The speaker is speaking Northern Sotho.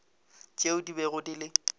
tšeo di bego di le